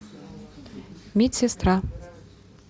медсестра